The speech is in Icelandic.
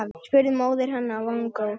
spurði móðir hennar vongóð.